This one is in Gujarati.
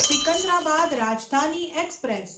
સિકંદરાબાદ રાજધાની એક્સપ્રેસ